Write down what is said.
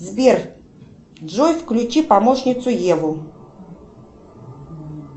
сбер джой включи помощницу еву